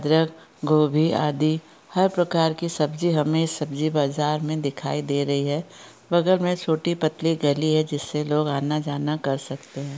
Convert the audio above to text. अदरक गोभी आदि हर प्रकार की सब्जी हमे सब्जी बाजार में दिखाई दे रही है बगल में छोटी पतली गली है जिससे लोग आना जाना कर सकते हैं।